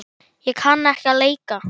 Ég kann ekki að leika.